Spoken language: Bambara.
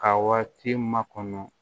Ka waati makɔnɔ